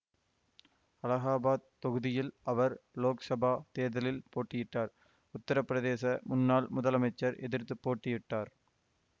அலகாபாத் தொகுதியில் அவர் லோக்சபா தேர்தலில் போட்டியிட்டார் உத்தரப்பிரதேச முன்னாள் முதலமைச்சர் எதிர்த்து போட்டியிட்டார்